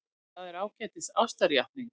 Það er ágætis ástarjátning.